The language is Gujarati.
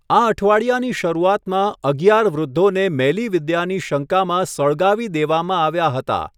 આ અઠવાડિયાની શરૂઆતમાં, અગિયાર વૃદ્ધોને મેલીવિદ્યાની શંકામાં સળગાવી દેવામાં આવ્યા હતા.